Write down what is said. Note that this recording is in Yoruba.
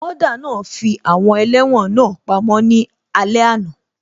Wọ́ọ́dà náà fi àwọn ẹlẹ́wọ̀n náà pamọ́ ní alé àná